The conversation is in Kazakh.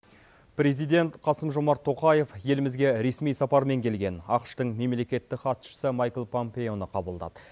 президент қасым жомарт тоқаев елімізге ресми сапармен келген ақш тың мемлекеттік хатшысы майкл пампеоны қабылдады